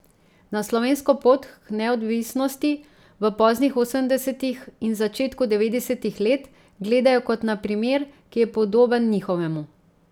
Na slovensko pot k neodvisnosti v poznih osemdesetih in začetku devetdesetih let gledajo kot na primer, ki je podoben njihovemu.